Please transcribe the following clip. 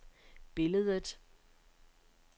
billedet